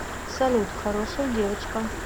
салют хорошая девочка